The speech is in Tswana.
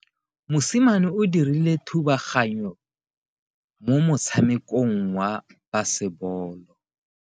Mosimane o dirile thubaganyo mo motshamekong wa basebolo.